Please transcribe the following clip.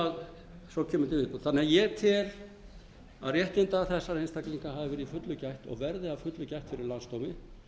svo kemur til viðbótar en ég tel að réttinda þessar einstaklinga hafi verið í fullu gætt og verði að fullu gætt fyrir landsdómi